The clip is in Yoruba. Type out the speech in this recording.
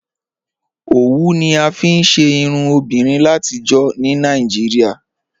Ọwù ni a fíí ṣè irùn obìnrin làtíjọ̀ ní Nàìjíríà